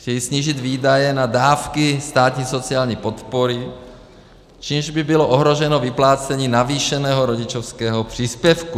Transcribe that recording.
Chtějí snížit výdaje na dávky státní sociální podpory, čímž by bylo ohroženo vyplácení navýšeného rodičovského příspěvku.